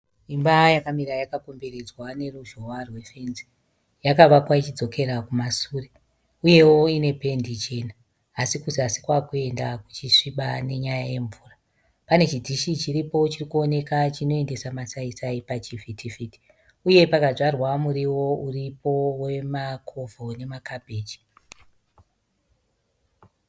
Imba yakamira yakakomberedzwa neruzhowa rwefenzi. Yakavakwa ichidzokera kumasure. Uyewo ine pendi chena asi kuzasi kwakuenda kuchisviba nenyaya yemvura. Pane chidhishi chiripo chirikuoneka chinoendesa masaisai pachivhiti-vhiti uye pakadzwarwa muriwo uripo wemacovo nemakabheji.